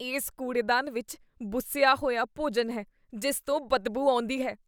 ਇਸ ਕੂੜੇਦਾਨ ਵਿੱਚ ਬੁਸਿਆ ਹੋਇਆ ਭੋਜਨ ਹੈ ਜਿਸ ਤੋਂ ਬਦਬੂ ਆਉਂਦੀ ਹੈ।